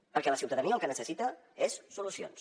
perquè la ciutadania el que necessita és solucions